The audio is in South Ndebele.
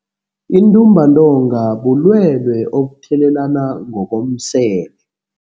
Intumbantonga bulwelwe obuthelelana ngokomseme.